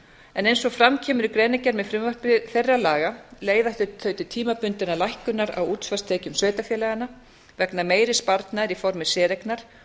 en eins og fram kemur í greinargerð með frumvarpi þeirra laga leiða þau til tímabundinnar lækkunar á útsvarstekjum sveitarfélaganna vegna meiri sparnaðar í formi séreignar